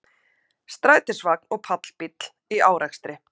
Strætisvagn og pallbíll í árekstri